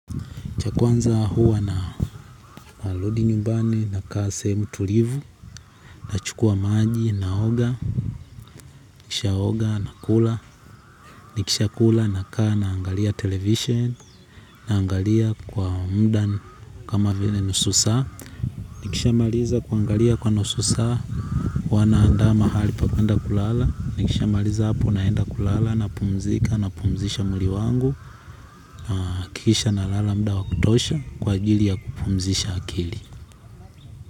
Cha kwanza huwa narudi nyumbani, nakaa sehemu tulivu, na chukua maji, na oga, nikishaoga, nakula nikisha kula, nakaa naangalia televisheni, naangalia kwa muda kama vile nusu saa, nikishamaliza kuangalia kwa nusu saa, huwa naanda mahali pakwenda kulala, nikishamaliza hapo naenda kulala napumzika, napumzisha mwili wangu, kisha nalala muda wa kutosha kwa ajili ya kupumzisha akili.